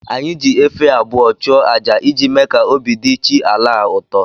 Anyị ji efi abụọ chụa aja iji mee ka obi dị chi ala a ụtọ